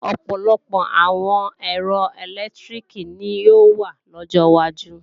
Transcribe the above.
Ọ̀pọ̀lọpọ̀ àwọn ẹ̀rọ ẹ̀lẹ́tíríkì ni yóò wà lọ́jọ wájú